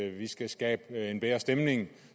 at vi skal skabe en bedre stemning